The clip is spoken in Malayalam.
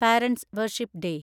parents' worship day